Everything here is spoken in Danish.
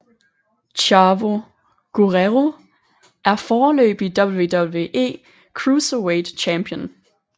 Chavo Guerrero er foreløbig WWE Cruiserweight Champion